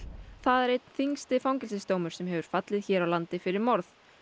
það er einn þyngsti fangelsisdómur sem hefur fallið hér á landi fyrir morð